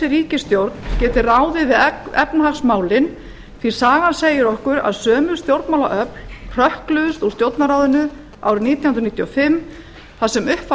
ríkisstjórn geti ráðið við efnahagsmálin því sagan segir okkur að sömu stjórnmálaöfl hrökkluðust úr stjórnarráðinu árið nítján hundruð níutíu og fimm þar sem upp var